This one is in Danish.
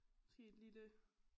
Måske et lille